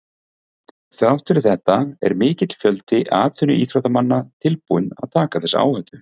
Þrátt fyrir þetta er mikill fjöldi atvinnuíþróttamanna tilbúinn að taka þessa áhættu.